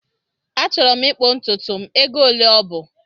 Achọrọ m ịkpụ ntutu m, ego ole ọ bụ?